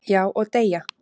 """Já, og deyja"""